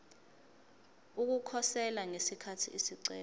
ukukhosela ngesikhathi isicelo